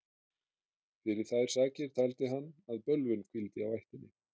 fyrir þær sakir taldi hann að bölvun hvíldi á ættinni